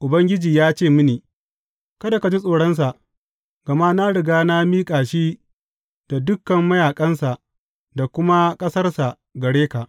Ubangiji ya ce mini, Kada ka ji tsoronsa, gama na riga na miƙa shi da dukan mayaƙansa da kuma ƙasarsa gare ka.